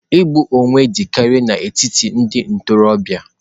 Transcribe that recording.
Igbu onwe dị karịa n'etiti ndị ntorobịa.